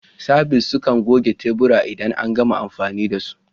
Sabis sukan goge teburan idan an gama amfani da su.